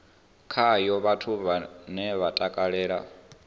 khayo vhathu vhane vha takalela